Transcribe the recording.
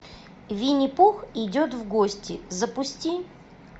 винни пух идет в гости запусти